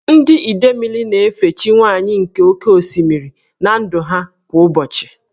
Ndị Idemili na-efe chi nwanyị nke oke osimiri (Idemili) na ndụ ha kwa ụbọchị.